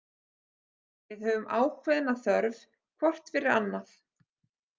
Við höfum ákveðna þörf hvort fyrir annað.